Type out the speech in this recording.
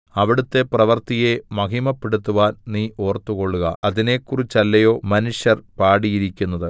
അവിടുത്തെ പ്രവൃത്തിയെ മഹിമപ്പെടുത്തുവാൻ നീ ഓർത്തുകൊള്ളുക അതിനെക്കുറിച്ചല്ലയോ മനുഷ്യർ പാടിയിരിക്കുന്നത്